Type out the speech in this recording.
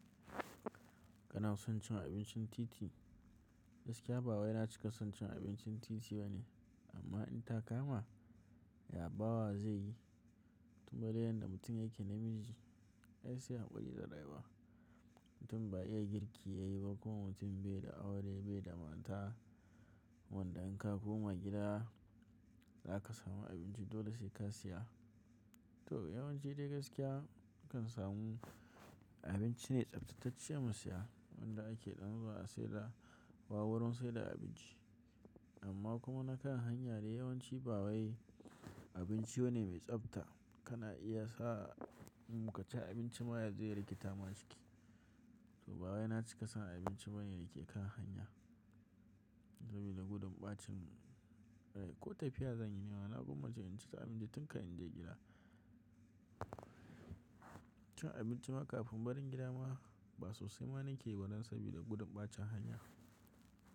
Kana son cin abincin titi? Gaskiya ba wai na cika son cin abincin titi bane, amma in ta kama, ya bawa zai yi? Duba dai yanda mutum ya ke namiji, ai say haƙuri da rayuwa. Mutum ba iya girki yayi ba ko mutum bai da aure bai da mata. Wanda in ka koma gida, za ka samu abinci dole sai ka siya. To yawanci dai gaskiya akan samu abinci ne tsaftatacce mu siya wanda ake ɗan zuwa a saida ba wurin saida abinci. Amma kuma na kan hanya dai yawanci ba wai abinci bane mai tsafta kana iya sa in ka ci abinci ma ya je ya riketa ma ciki. To ba wai na cika son abinci ba ne da ke kan hanya, sabida gudun ɓacin rai ko tafiya zanyi ni ma na gwamma ce in ci abinci tun kafin in je gida. Cin abinci ma kafin barin gida ma ba sosai ma nake yi ba dan sabida gudun ɓacin hanya.